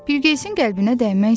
Bilqeyisin qəlbinə dəymək istəmirdi.